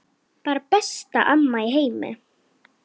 Bara besta amma í heimi.